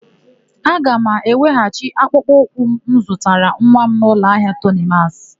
A ga m eweghachi akpụkpọ ụkwụ m zụtara nwa m n'ụlọahịa Tonimasị.